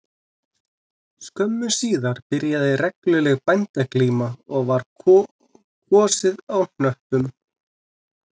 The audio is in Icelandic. Skömmu síðar byrjaði regluleg bændaglíma og var kosið á hnöppum